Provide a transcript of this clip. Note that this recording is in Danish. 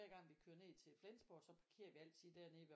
Gang vi kører ned til Flensborg så parkerer vi altid dernede ved